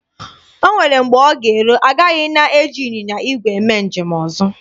O nwere mgbe ọ ga-eru, agaghị ana eji ịnyịnya igwe eme njem ọzọ.